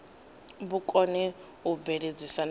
vhu kone u bveledzisa na